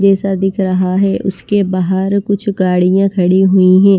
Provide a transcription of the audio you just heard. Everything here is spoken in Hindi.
जैसा दिख रहा है उसके बाहर कुछ गाड़ियां खड़ी हुई हैं।